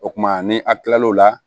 O kumana ni a kila l'o la